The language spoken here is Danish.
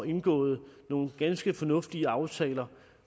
indgået nogle ganske fornuftige aftaler